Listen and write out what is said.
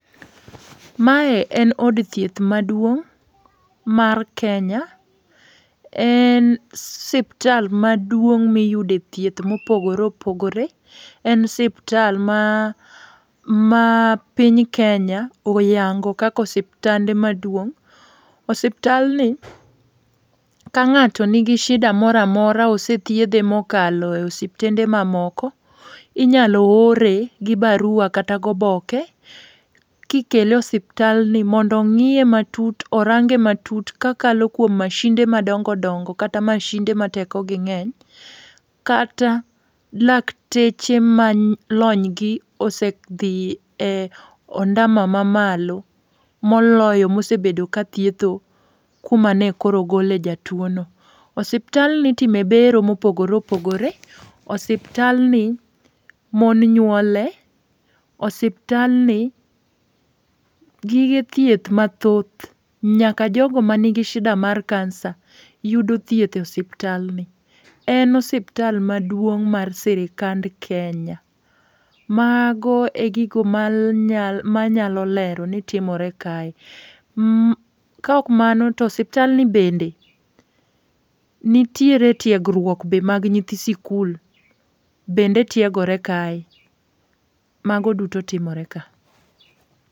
Mae en od thieth maduong' mar Kenya. En siptal maduong' miyude thieth mopogore opogore. En siptal maa mapiny Kenya oyango kaka osiptande maduong' . Osiptandni, ka ng'ato nigi shida mora mora osethiedhe mokalo osiptnde mamoko, inyalo ore gi barua kata goboke, kikele e osiptalni mondo ong'iye matut, orange matut kakalo kuom mashinde madongo dongo kata mashinde ma teko gi ng'eny kata lakteche ma lonygi osedhi e ondamo mamalo moloyo mosebedo ka thietho kuma ne koro ogole jatuwono. Osiptalni itime bero mopogore opogore. Osiptalni, mon nyuole, osiptalni gige thieth mathoth nyaka jogo manigi shida mar kansa yudo thieth e osiptalni. En osiptal maduong' mar sirikand Kenya ,mago e gigo manyalo lero ni timore kae. Ka ok mano, to osiptalni bende nitiere tiegruok be mag nyithi sikul, bende tiegore kae. Mago duto timore ka.